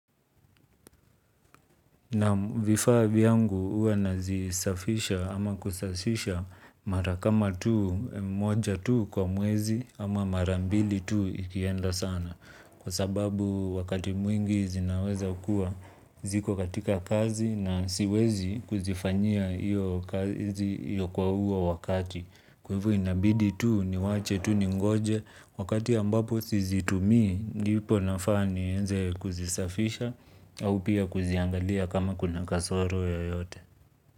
Naam vifavi yangu huwa nazisafisha ama kusasisha mara kama tuu, moja tuu kwa mwezi ama marambili tuu ikienda sana. Kwa sababu wakati mwingi zinaweza kua ziko katika kazi na siwezi kuzifanyia iyo kwa huo wakati. Kwa hivyo inabidi tu ni wache tu ningoje wakati ambapo sizitumi ndipo nafa nianze kuzisafisha. Au pia kuziangalia kama kuna kasoro yoyote.